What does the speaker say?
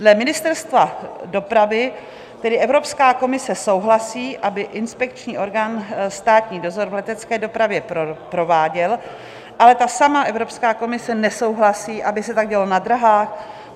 Dle Ministerstva dopravy tedy Evropská komise souhlasí, aby inspekční orgán státní dozor v letecké dopravě prováděl, ale ta samá Evropská komise nesouhlasí, aby se tak dělo na dráhách.